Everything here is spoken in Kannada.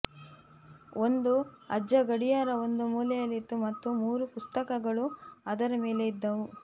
ಒಂದು ಅಜ್ಜ ಗಡಿಯಾರ ಒಂದು ಮೂಲೆಯಲ್ಲಿತ್ತು ಮತ್ತು ಮೂರು ಪುಸ್ತಕಗಳು ಅದರ ಮೇಲೆ ಇದ್ದವು